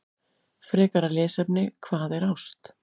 Frekara lesefni: Hvað er ást?